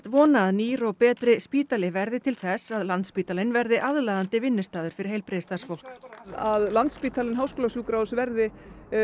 vona að nýr og betri spítali verði til þess að Landspítalinn verði aðlaðandi vinnustaður fyrir heilbrigðisstarfsfólk að Landspítali Háskólasjúkrahús verði